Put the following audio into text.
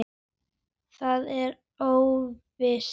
Það er óvíst.